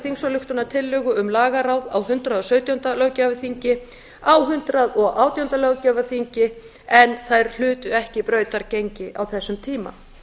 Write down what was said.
þingsályktunartillögu um lagaráð á hundrað og sautjándu löggjafarþingi og á hundrað og átjándu löggjafarþingi en þær hlutu ekki brautargengi á þessum tíma